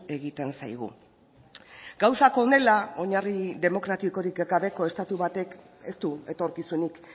egiten zaigu gauzak honela oinarri demokratikorik gabeko estatu batek ez du etorkizunik